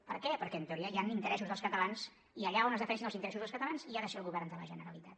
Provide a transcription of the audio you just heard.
per què perquè en teoria hi han interessos dels catalans i allà on es defensin els interessos dels catalans hi ha de ser el govern de la generalitat